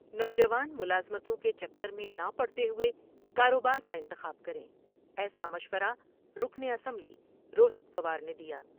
نوجوان ملازمتوں کے چکر میں نہ پڑتے ہوئے کاروبار کا انتخاب کر میں ایسا مشورہ رکن اسمبلی روہیت پوار نے دیا ہے ۔